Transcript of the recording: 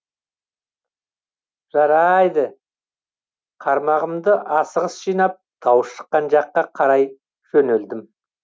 жа р айды қармағымды асығыс жинап дауыс шыққан жаққа қарай жөнелдім